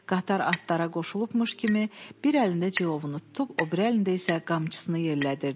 Qatar atlara qoşulubmuş kimi, bir əlində cilovunu tutub, o biri əlində isə qamçısını yellədirdi.